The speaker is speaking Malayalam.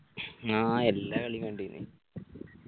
ആ എല്ലാ കളിയു കണ്ടിന്